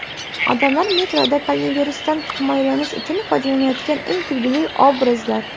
Odamlar metroda koronavirusdan himoyalanish uchun foydalanayotgan eng kulgili obrazlar .